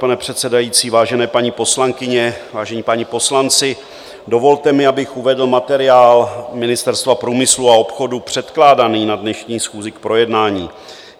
Pane předsedající, vážené paní poslankyně, vážení páni poslanci, dovolte mi, abych uvedl materiál Ministerstva průmyslu a obchodu předkládaný na dnešní schůzi k projednání.